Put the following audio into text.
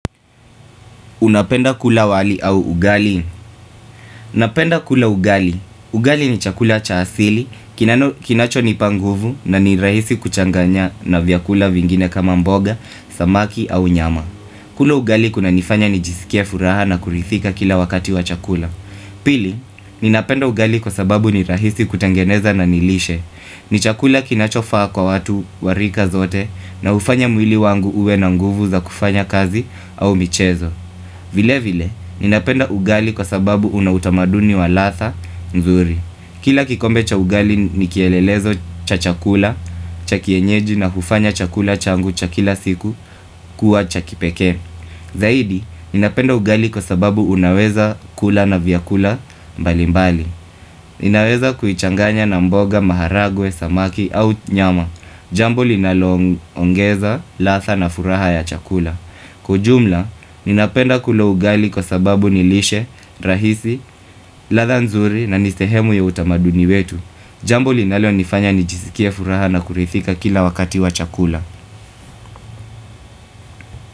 Unapenda kula wali au ugali napenda kula ugali Ugali ni chakula cha asili, kinachonipa nguvu na ni rahisi kuchanganya na vyakula vingine kama mboga, samaki au nyama kula ugali kunanifanya nijisikia furaha na kurithika kila wakati wa chakula Pili, ninapenda ugali kwa sababu ni rahisi kutangeneza na nilishe ni chakula kinachofaa kwa watu warika zote na ufanya mwili wangu uwe na nguvu za kufanya kazi au michezo vile vile, ninapenda ugali kwa sababu unautamaduni wa ladha mzuri. Kila kikombe cha ugali nikielelezo cha chakula, cha kienyeji na hufanya chakula changu cha kila siku kuwa cha kipekee. Zaidi, ninapenda ugali kwa sababu unaweza kula na vyakula mbali mbali. Ninaweza kuichanganya na mboga, maharagwe, samaki au nyama Jambo linaloongeza, ladha na furaha ya chakula Kujumla, ninapenda kulo ugali kwa sababu nilishe, rahisi, ladha nzuri na ni sehemu ya utamaduni wetu Jambo linalonifanya nijisikia furaha na kurithika kila wakati wa chakula.